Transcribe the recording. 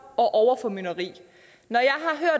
og overformynderi